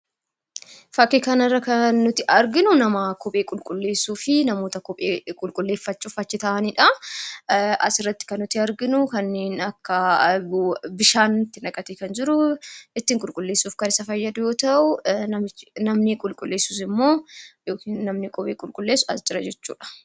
Fakkii kana irratti kan nuti arginu nama kophee qulqulleessuu fi namoota kophee qulqulleeffachuuf achi taa'aniidha. Asirratti kan nuti arginu kanneen akka; bishaan itti naqatee kan jiru ittiin qulqulleessuuf kan isa fayyadu yoo ta'u, namni qulqulleessu sun immoo yookiin namni kophee qulqulleessu as jira jechuudha.